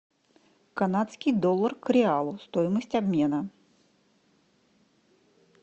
канадский доллар к реалу стоимость обмена